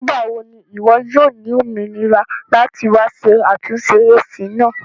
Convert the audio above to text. Nigbawo ni iwọ yoo ni ominira lati wa ṣe atunṣe AC naa?